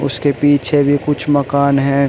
इसके पीछे भी कुछ मकान है।